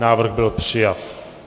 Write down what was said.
Návrh byl přijat.